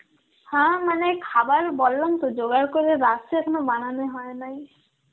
হ্যাঁ মানে খাবার বললাম তো জোগাড় করেরাখসি, এখনও বানানো হয় নাই.